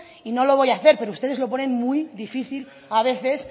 y no lo voy a hacer pero ustedes lo ponen muy difícil a veces